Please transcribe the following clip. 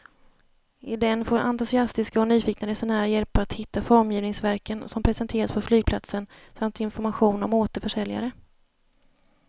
I den får entusiastiska och nyfikna resenärer hjälp att hitta formgivningsverken som presenteras på flygplatsen samt information om återförsäljare.